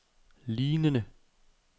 lignende